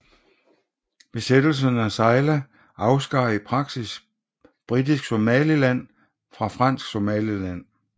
Besættelsen af Zeila afskar i praksis Britisk Somaliland fra Fransk Somaliland